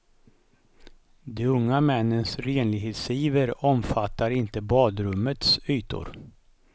De unga männens renlighetsiver omfattar inte badrummets ytor.